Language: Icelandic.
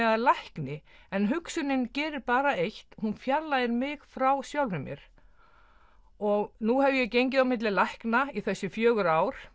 að lækni en hugsunin gerir bara eitt hún fjarlægir mig frá sjálfri mér og nú hef ég gengið á milli lækna í þessi fjögur ár